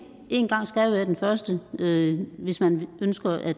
en gang skal jo være den første hvis man ønsker at